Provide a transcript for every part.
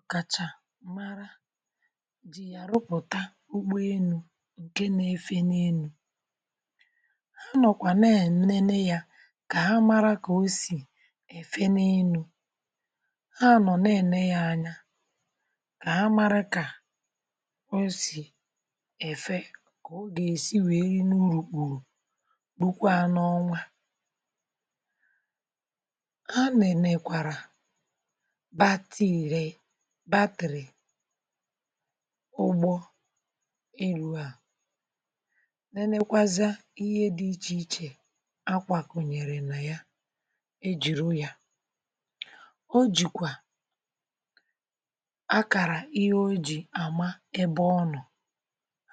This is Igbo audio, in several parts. Ọ̀ kàchà mara jì, yà rụpụ̀ta ụgbọ élù̇ ǹke na-efe n’elu̇. Ha nọ̀kwà na-ene yȧ, kà ha mara kà o sì èfe n’elu̇ ha. um Anọ̀ na-ène ya anya, kà ha mara kà o sì èfe, kà o gà-èsi wèe rì n’urùkpùrù. Bùkwa n’ọnwa ha nẹ̀nẹ̀kwàrà ụgbọ ịru̇ à, nenekwazịa ihe dị ichè ichè akwàkụ̀ nyere nà ya. um Ejìru yȧ, o jìkwà akàrà ihe o jì àma ebe ọnọ̀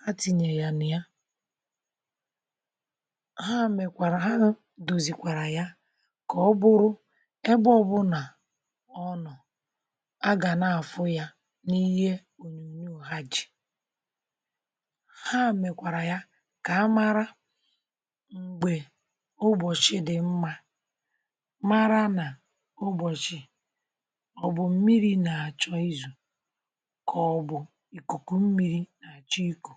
ha, tìnyè ya nà ya. Ha mèkwàrà ha, dòzìkwàrà ya, kà ọ bụrụ ebe ọbụ̀nà ọnọ̀. um N’ihe onyonyo ha jì, ha mekwara ya kà amara mgbe ubochi dị mma — mara na ubochi ọ bụ mmiri, na-achọ izu kọ, bụ̀ ikuku mmiri na-achọ iku.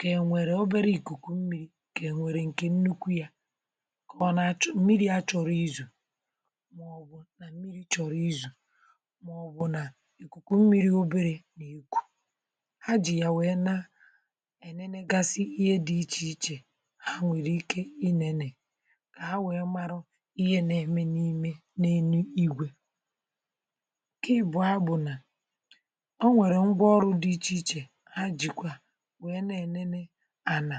Kenwere obere ikuku mmiri, kenwere nke nnukwu ya, kọ na achọ mmiri a chọrọ izu. um Ǹke à bụ̀ ihe nȧ-eme n’ime n’enu igwè ǹke ị bụ̀ ha bụ̀ nà o nwèrè ngwa ọrụ̇ dị ichè ichè, ha jìkwà wee na-enene ànà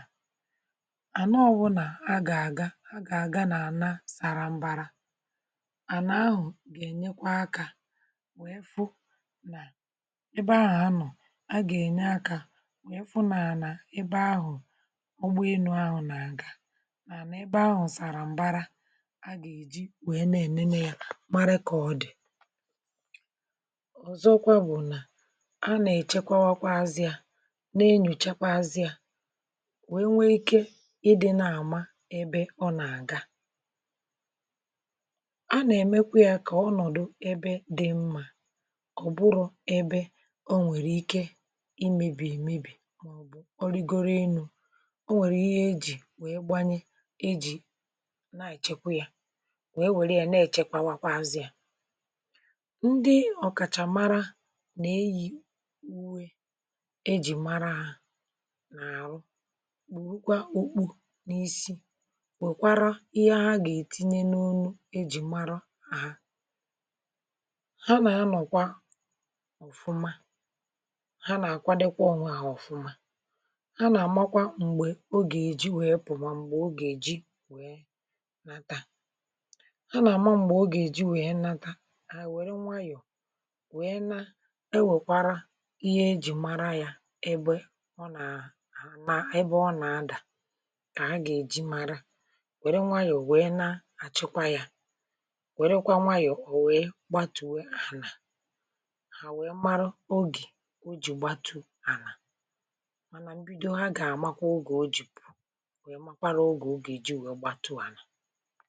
àna. Ọbụ̇ nà a gà-àga, a gà-àga na-àna sàrà mbara. Àna ahụ̀ ga-enyekwa akȧ, a gà-ènye akȧ, wèe fụ n’ànà ebe ahụ̀. um Ọgba enu ahụ̇ nà àga nà ebe ahụ̇ sàrà m̀bara, a gà-èji wee na-ènene yȧ mara kà ọ dì. Ọ̀zọkwa bụ̀ nà a nà-èchekwawȧkwa azịȧ, na-enyùchekwa azịȧ, wee nwee ikė ịdị̇ nà àma ebe ọ nà-àga. um A nà-èmekwa yȧ, kà ọnọ̀dụ ebe dị̇ mmȧ, ebe ọ nwèrè ike imėbì èmebì mọ̀bụ̀ ọrịgọrọ élù̇. Ọ nwèrè ihe ejì wee gbanye ejì na-èchekwa ya, wee nwee ya, na-èchekwawakwa azị ya. um Ndị ọkàchà mara nà-eyì uwe ejì mara ahụ̀ n’àhụ, kpòrụkwa ọkpụ n’isi, wèkwara ihe ha gà-ètinye n’onu ejì mara ahụ̀. Ha nà-anọ̀kwa, ha nà-àkwadekwa ọnwȧ àhọfụma. um Ha nà-àmakwa m̀gbè o gà-èji wee pụ̀mà, m̀gbè o gà-èji wèe nata. Ha nà-àma m̀gbè o gà-èji wèe nata àhọ̀. Wère nwayọ̀ wèe na, ewèkwara ihe ejì mara yȧ ebe ọ nà-àlà, ebe ọ nà-adà, kà a gà-èji mara. um Wère nwayọ̀ wèe na, àchịkwa yȧ, wèrekwa nwayọ̀, ò wèe gbatùwe ànà, o jì gbàtù ànà. Mànà mbido, ha gà-àmakwa ụgà o jì pụ̀ọ. Onye makwaàrà ụgà o gè-èji wee gbàtù ànà.